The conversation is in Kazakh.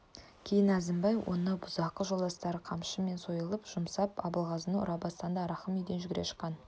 кейін әзімбай мен оның бұзақы жолдастары қамшы мен сойыл жұмсап абылғазыны ұра бастағанда рахым үйден жүгіре шыққан